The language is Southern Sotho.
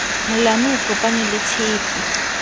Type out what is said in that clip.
molamu o kopane le tshepe